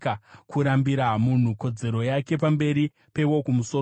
kurambira munhu kodzero yake pamberi peWokumusoro-soro,